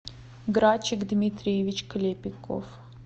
грачик дмитриевич клепиков